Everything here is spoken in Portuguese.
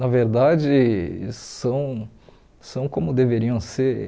Na verdade, são são como deveriam ser.